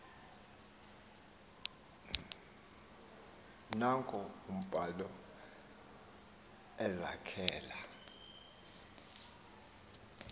naanko uphalo ezakhela